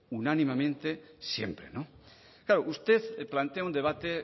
unánimemente siempre claro usted plantea un debate